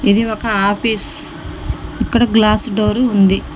ఇది ఒక ఆఫీస్ . ఇక్కడ గ్లాసు డోర్ ఉంది.